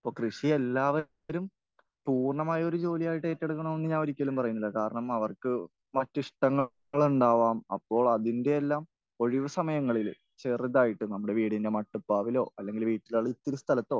അപ്പോൾ കൃഷി എല്ലാവരും പൂർണമായൊരു ജോലിയായിട്ട് ഏറ്റെടുക്കണമെന്നൊന്നും ഞാൻ ഒരിക്കലും പറയില്ല. കാരണം അവർക്ക് മറ്റ് ഇഷ്ടങ്ങൾ ഉണ്ടാവാം. അപ്പോൾ അതിന്റെയെല്ലാം ഒഴിവ് സമയങ്ങളിൽ ചെറുതായിട്ട് നമ്മുടെ വീടിന്റെ മട്ടുപ്പാവിലോ അല്ലെങ്കിൽ വീട്ടിലെ ഒരിത്തിരി സ്ഥലത്തോ